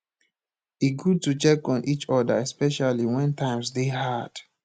e good to check on each other especially when times dey hard